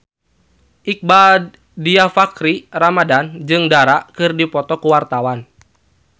Iqbaal Dhiafakhri Ramadhan jeung Dara keur dipoto ku wartawan